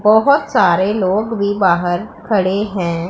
बहोत सारे लोग भी बाहर खड़े हैं।